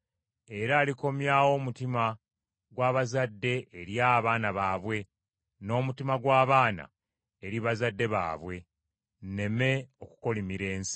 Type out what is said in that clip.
era alikomyawo omutima gwa bazadde eri abaana baabwe, n’omutima gw’abaana eri bazadde baabwe; nneme okukolimira ensi.”